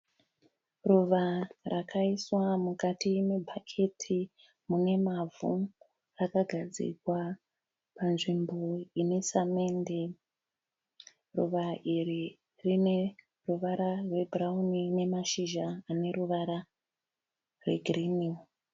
Ruva rakaiswa mukati mebhaketi mune mavhu rakagadzirwa panzvimbo ine samende ruva iri rine ruvara rwebhurauni nemashizha ane ruvara rwegirini.